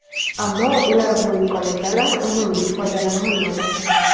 Ammo ular bu imkoniyatlardan unumli foydalana olmadi.